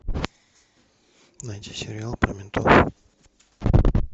найди сериал про ментов